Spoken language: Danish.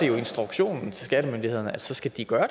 jo instruktionen til skattemyndighederne at så skal de gøre